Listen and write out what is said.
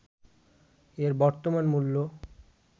এর বর্তমান মূল্য